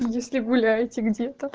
если гуляете где